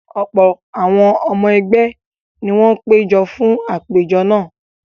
Ọ̀pọ̀ àwọn ọmọ ẹgbẹ́ ni wọ́n péjọ fún àpèjọ náà.